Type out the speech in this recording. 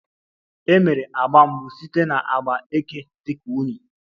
E mere agba mbụ site na agba eke dị ka unyi